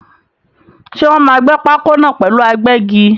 Ṣé Wòn máa gbẹ́ pákó náà pẹ̀lú agbẹ́gi?